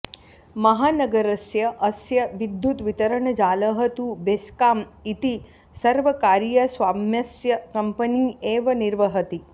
महानगरस्य अस्य विद्युद्वितरणजालः तु बेस्काम् इति सर्वकारीयस्वाम्यस्य कम्पनी एव निर्वहति